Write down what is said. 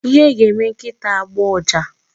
Ihe ga-eme nkịta agbọọ ụja.